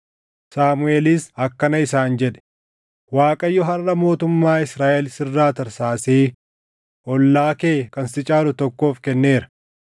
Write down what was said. Saamuʼeelis akkana isaan jedhe; “ Waaqayyo harʼa mootummaa Israaʼel sirraa tarsaasee ollaa kee kan si caalu tokkoof kenneera.